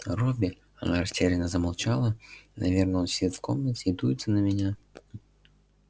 робби она растерянно замолчала наверное он сидит в комнате и дуется на меня